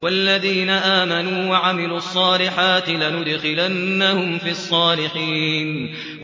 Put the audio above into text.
وَالَّذِينَ آمَنُوا وَعَمِلُوا الصَّالِحَاتِ لَنُدْخِلَنَّهُمْ فِي الصَّالِحِينَ